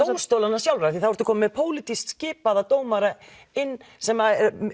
dómstólanna sjálfra af því þá ertu komin með pólitískt skipaða dómara inn sem